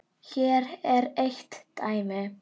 Hér er eitt dæmi.